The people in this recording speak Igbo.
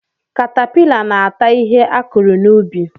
Katapịla na-ata ihe akụrụ n'ubi.